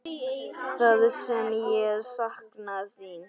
Það sem ég sakna þín.